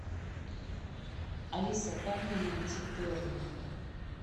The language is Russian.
алиса как мне найти термы